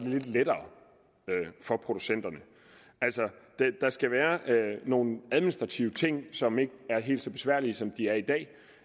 lidt lettere for producenterne altså der skal være nogle administrative ting som ikke er helt så besværlige som de er i dag